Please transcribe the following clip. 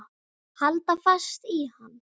Halda fast í hann!